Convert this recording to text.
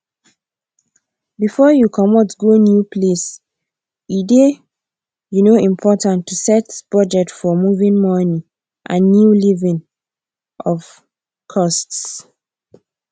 before you comot go new place e dey um important to set budget for moving money and new living um costs